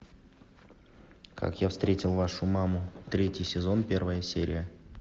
как я встретил вашу маму третий сезон первая серия